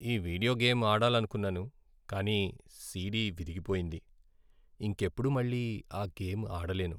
ఈ video game ఆడాలనుకున్నాను కానీ సీడీ విరిగిపోయింది. ఇంకెప్పుడూ మళ్ళీ ఆ గేమ్ ఆడలేను.